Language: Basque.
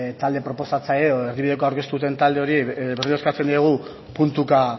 talde proposatzaile edo erdibidekoa aurkeztu duten talde horiei berriro eskatzen diegu puntuka